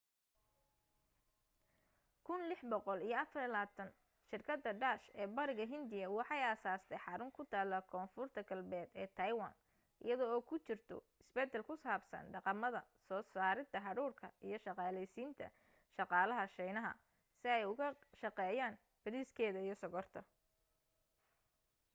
1624 shirkada dutch ee bariga india waxay aasastay xarun kutaala konfurta galbeed ee taiwan iyada oo kujirto isbadal kusabsan dhaqamada soo sarida hadhuudhka iyo shaqaaleysinta shaqaalaha shiinaha si ay uga shaqeeyaan bariiskeda iyo sonkorta